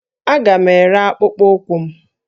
Aga m ere akpụkpọ ụkwụ m